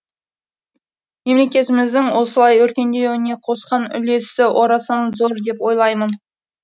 мемлекетіміздің осылай өркендеуіне қосқан үлесі орасан зор деп ойлаймын